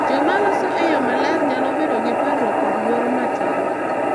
Joma loso e yo maler nyalo bedo gi parruok kod luoro matin,